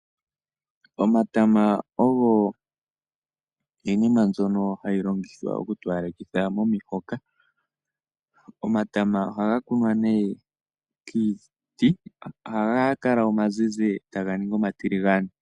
Omatama ogo iinima mbyono hayi longithwa oku towalekitha omihoka. Omatama ohaga kunwa nee kiiti, ohaga kala omazizi, etaga ningi oma tiligane.